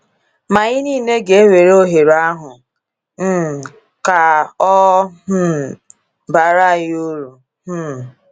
Ma anyị niile ga-ewere ohere ahụ um ka ọ um baara anyị uru. um